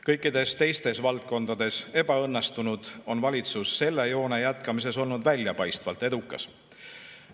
Kõikides teistes valdkondades ebaõnnestunud, on valitsus selle joone jätkamises olnud väljapaistvalt edukas.